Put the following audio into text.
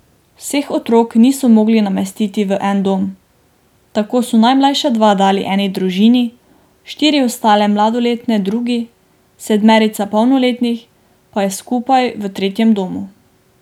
Vseh otrok niso mogli namestiti v en dom, tako so najmlajša dva dali eni družini, štiri ostale mladoletne drugi, sedmerica polnoletnih pa je skupaj v tretjem domu.